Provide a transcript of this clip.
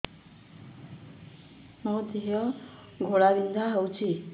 ମୋ ଦେହ ଘୋଳାବିନ୍ଧା ହେଉଛି